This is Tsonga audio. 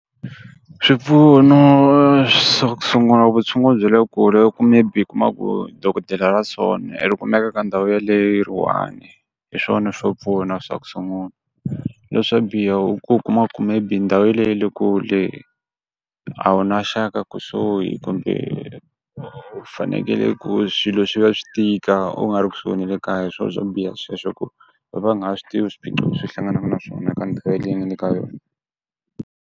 Swipfuno swa ku sungula vutshunguri bya le kule loko maybe u kuma ku dokodela ra swona ri kumeka ka ndhawu leyo yi ri one, hi swona swo pfuna swa ku sungula, leswo biha u ku u kuma ku maybe ndhawu yeleyo yi le kule a wu na xaka kusuhi kumbe fanekele ku swilo swi va swi tika u nga ri kusuhi na le kaya hiswo swo biha sweswo u va nga swi tivi swiphiqo leswi hlanganaka na swona ka ndhawu leyi nga le ka yona.